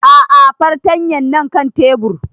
A'a fartanyan na kan tebur